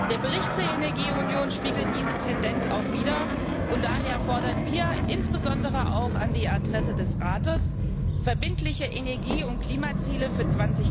Der Bericht zur Energieunion spiegelt diese Tendenz wider, und daher fordern wir, insbesondere auch an die Adresse des Rates, verbindliche Energie und Klimaziele für